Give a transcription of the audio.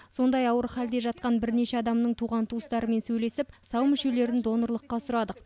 сондай ауыр халде жатқан бірнеше адамның туған туыстарымен сөйлесіп сау мүшелерін донорлыққа сұрадық